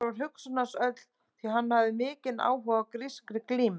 Þar var hugsun hans öll því að hann hafði mjög mikinn áhuga á grískri glímu.